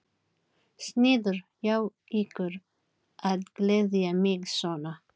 Sniðugt hjá ykkur að gleðja mig svona.